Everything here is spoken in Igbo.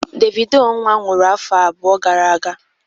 Davido nwa nwụrụ afọ abụọ gara aga